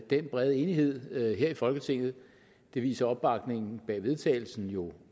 den brede enighed her i folketinget det viser opbakningen bag vedtagelsen jo